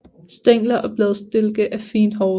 Stængler og bladstilke er fint hårede